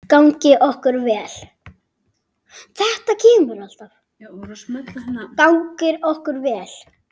Gangi okkur vel.